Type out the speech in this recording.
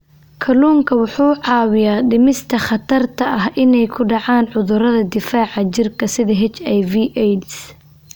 Kalluunku wuxuu caawiyaa dhimista khatarta ah inay ku dhacaan cudurrada difaaca jirka sida HIV/AIDS.